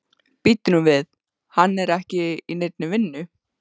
Bíddu nú við, hann er ekki í neinni vinnu?